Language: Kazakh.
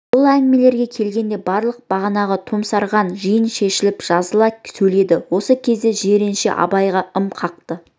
бұл әңгімелерге келгенде барлық бағанағы томсарған жиын шешіліп жазыла сөйледі осы кезде жиренше абайға ым қақты